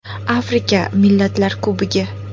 Afrika Millatlar Kubogi.